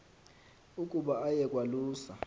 ukuba aye kwalusa